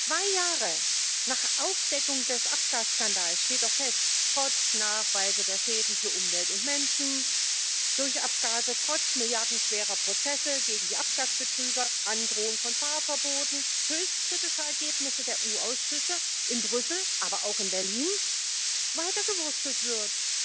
Zwei Jahre nach Aufdeckung des Abgasskandals steht doch fest, dass trotz der Nachweise der Schäden für Umwelt und Menschen durch Abgase, trotz milliardenschwerer Prozesse gegen die Abgasbetrüger, Androhung von Fahrverboten, höchst kritischer Ergebnisse der EU Ausschüsse in Brüssel, aber auch in Berlin, weitergewurstelt wird.